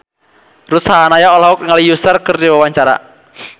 Ruth Sahanaya olohok ningali Usher keur diwawancara